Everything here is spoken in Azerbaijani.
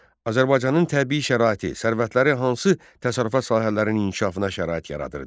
Azərbaycanın təbii şəraiti, sərvətləri hansı təsərrüfat sahələrinin inkişafına şərait yaradırdı?